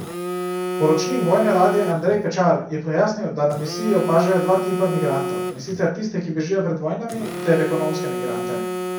Poročnik bojne ladje Andrej Pečar je pojasnil, da na misiji opažajo dva tipa migrantov, in sicer tiste, ki bežijo pred vojnami, ter ekonomske migrante.